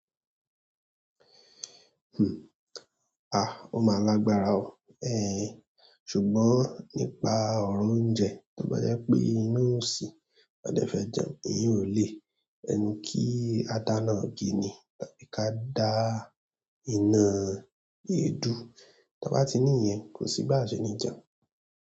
Hmm. Ah! Ó máa lágbára o. Ṣùgbọ́n nípa ọ̀rọ̀ oúnjẹ, tó bá jẹ́ pé ina ò sí, ọn dẹ fẹ́ jẹun, ìyen ò lé. Ẹnu kí á dáná igi ni, tàbí ká dá iná èédú. Tọ́n bá ti ní ìyẹn, kò sí bá a ṣe ní jẹun.